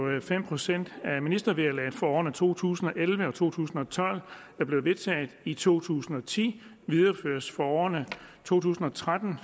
fem procent af ministervederlaget for årene to tusind og elleve og to tusind og tolv der blev vedtaget i to tusind og ti videreføres for årene to tusind og tretten